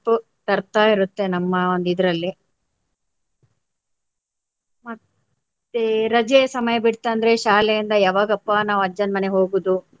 ತರ್ತಾಯಿರುತ್ತೆ ನಮ್ಮ ಒಂದು ಇದರಲ್ಲಿ. ಮತ್ತೆ ರಜೆಯ ಸಮಯ ಬಿಟ್ತಂದ್ರೆ ಶಾಲೆಯಿಂದ ಯಾವಾಗಪ್ಪ ನಾವು ಅಜ್ಜನ ಮನೆಗೆ ಹೋಗುದು